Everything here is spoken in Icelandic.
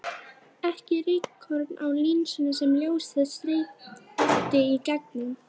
Ekki rykkorn á linsunni sem ljósið streymdi í gegnum.